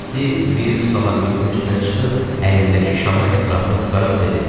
Stiv bir stalaqmitin üstünə çıxıb əlindəki şamı ətrafına tutaraq dedi: